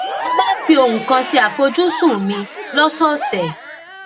mo máa ń fi ohun kan ṣe àfojúsùn mi lósòòsè